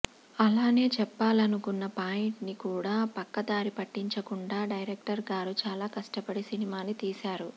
అలానే చెప్పాలనుకున్న పాయింట్ ని కూడా పక్క దారి పట్టించకుండా డైరెక్టర్ గారు చాల కష్టపడి సినిమాని తీశారు